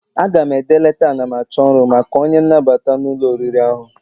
Aga m ede leta anamachọrụ maka onye nnabata n'ụlọ oriri ahụ.